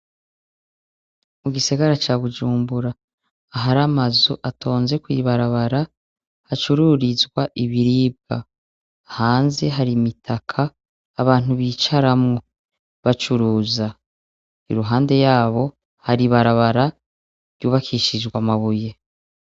Mugisagara ca bujumbura har'amazu atonze kw'ibarabara hacururizwa ibiribwa, hanze hari imitaka abantu bicaramwo bacuruza, iruhande yaho har'ibarabara ryubakishijwe amabuye.